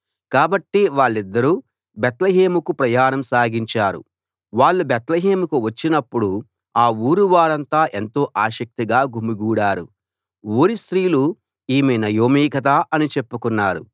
కాబట్టి వాళ్ళిద్దరూ బేత్లెహేముకు ప్రయాణం సాగించారు వాళ్ళు బేత్లెహేముకు వచ్చినప్పుడు ఆ ఊరు ఊరంతా ఎంతో ఆసక్తిగా గుమిగూడారు ఊరి స్త్రీలు ఈమె నయోమి కదా అని చెప్పుకున్నారు